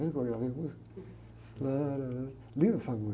Está vendo que eu gravei a música? Linda essa música.